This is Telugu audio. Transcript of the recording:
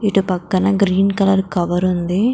ఇటు పక్కన గ్రీన్ కలర్ కవర్ ఉంది --